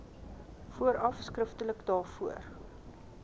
vooraf skriftelik daarvoor